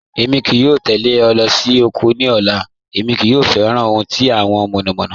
Èmi kìí yọ̀ tẹlẹ̀ ọ̀ lọ́ sí oko ní ọ̀là, èmi kò fẹ́ran ohun tí awọn mọ̀nọ̀mọ̀nọ̀.